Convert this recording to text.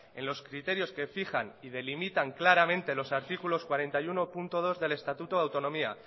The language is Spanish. en los criterios que fijan y delimitan claramente los artículos cuarenta y uno punto dos del estatuto de autonomía